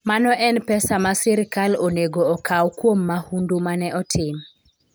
Mano en pesa ma sirkal onego okaw kuom mahundu ma ne otim.